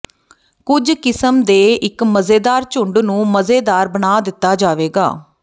ਕੁਝ ਕਿਸਮ ਦੇ ਇੱਕ ਮਜ਼ੇਦਾਰ ਝੁੰਡ ਨੂੰ ਮਜ਼ੇਦਾਰ ਬਣਾ ਦਿੱਤਾ ਜਾਵੇਗਾ